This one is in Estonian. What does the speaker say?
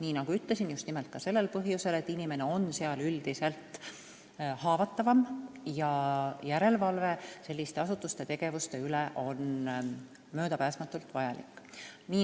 Nii nagu ütlesin, just nimelt sellel põhjusel, et inimene on seal üldiselt haavatavam, ja ka järelevalve selliste asutuste tegevuste üle on möödapääsmatult vajalik.